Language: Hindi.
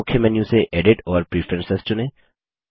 मुख्य मेन्यू से एडिट और प्रेफरेंस चुनें